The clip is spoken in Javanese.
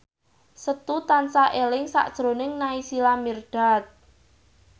Setu tansah eling sakjroning Naysila Mirdad